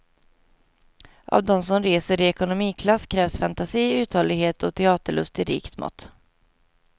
Av dem som reser i ekonomiklass krävs fantasi, uthållighet och teaterlust i rikt mått.